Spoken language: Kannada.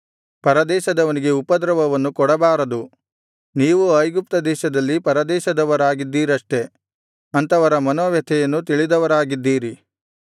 ಪರದೇಶದವನಿಗೆ ಉಪದ್ರವವನ್ನು ಕೊಡಬಾರದು ನೀವೂ ಐಗುಪ್ತದೇಶದಲ್ಲಿ ಪರದೇಶದವರಾಗಿದ್ದೀರಷ್ಟೇ ಅಂಥವರ ಮನೋವ್ಯಥೆಯನ್ನು ತಿಳಿದವರಾಗಿದ್ದೀರಿ